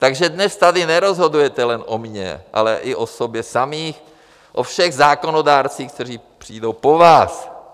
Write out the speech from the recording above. Takže dnes tady nerozhodujete jen o mně, ale i o sobě samých, o všech zákonodárcích, kteří přijdou po vás.